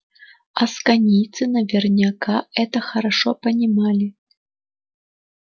асконийцы наверняка это хорошо понимали